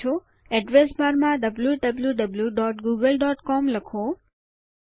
address બારમાં wwwgooglecom લખો